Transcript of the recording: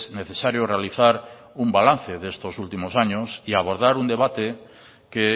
necesario realizar un balance de estos últimos años y abordar un debate que